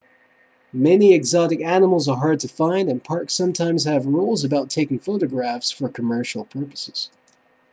many exotic animals are hard to find and parks sometimes have rules about taking photographs for commercial purposes